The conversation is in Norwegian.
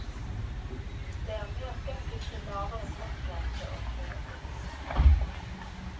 Jeg er mer skeptisk til lavere fartsgrense og kjøreforbud.